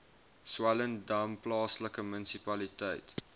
swellendam plaaslike munisipaliteit